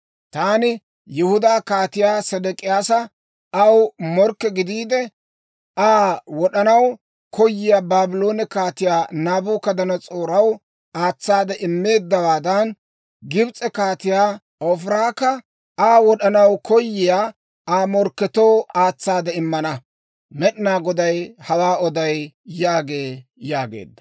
taani Yihudaa Kaatiyaa Sedek'iyaasa aw morkke gidiide, Aa wod'anaw koyiyaa Baabloone Kaatiyaa Naabukadanas'ooraw aatsaade immeeddawaadan, Gibs'e Kaatiyaa Hofirakka Aa wod'anaw koyiyaa Aa morkketoo aatsaade immana. Med'inaa Goday hawaa oday› yaagee» yaageedda.